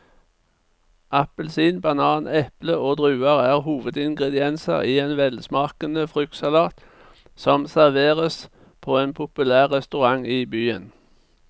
Appelsin, banan, eple og druer er hovedingredienser i en velsmakende fruktsalat som serveres på en populær restaurant i byen.